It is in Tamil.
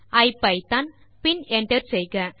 டைப் செய்க ஐபிதான் பின் என்டர் செய்க